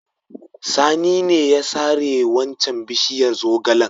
Sani ne ya sare waccan bishiyar zogalen.